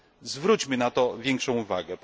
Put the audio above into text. Zwróćmy na to większą uwagę.